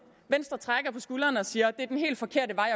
venstre trækker på skulderen og siger at det er den helt forkerte vej